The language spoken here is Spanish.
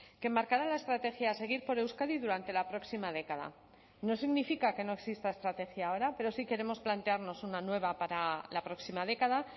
que marcará la estrategia a seguir por euskadi durante la próxima década no significa que no exista estrategia ahora pero sí queremos plantearnos una nueva para la próxima década